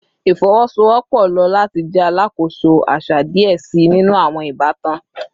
Ifowosowopo lo lati jẹ alakoso aṣa diẹ sii ninu awọn ibatan